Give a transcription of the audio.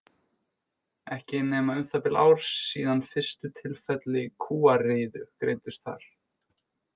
Ekki er nema um það bil ár síðan fyrstu tilfelli kúariðu greindust þar.